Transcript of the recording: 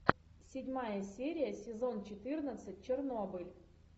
седьмая серия сезон четырнадцать чернобыль